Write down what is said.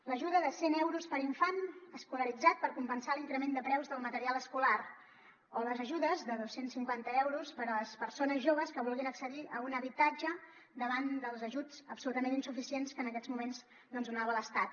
l’ajuda de cent euros per infant escolaritzat per compensar l’increment de preus del material escolar o les ajudes de dos cents cinquanta euros per a les persones joves que vulguin accedir a un habitatge davant dels ajuts absolutament insuficients que en aquests moments doncs donava l’estat